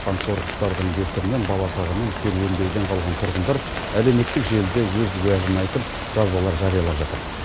қансорғыштардың кесірінен бала шағамен серуендеуден қалған тұрғындар әлеуметтік желіде өз уәжін айтып жазбалар жариялап жатыр